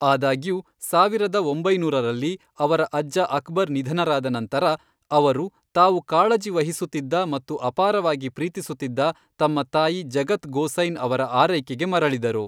ಆದಾಗ್ಯೂ, ಸಾವಿರದ ಒಂಬೈನೂರರಲ್ಲಿ, ಅವರ ಅಜ್ಜ ಅಕ್ಬರ್ ನಿಧನರಾದ ನಂತರ ಅವರು, ತಾವು ಕಾಳಜಿ ವಹಿಸುತ್ತಿದ್ದ ಮತ್ತು ಅಪಾರವಾಗಿ ಪ್ರೀತಿಸುತ್ತಿದ್ದ, ತಮ್ಮ ತಾಯಿ ಜಗತ್ ಗೋಸೈನ್ ಅವರ ಆರೈಕೆಗೆ ಮರಳಿದರು.